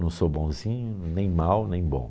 Não sou bonzinho, nem mal, nem bom.